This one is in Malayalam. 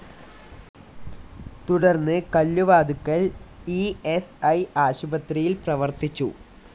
തുടർന്ന് കല്ലുവാതുക്കൽ ഇ സ്‌ ഐ ആശുപത്രിയിൽ പ്രവർത്തിച്ചു.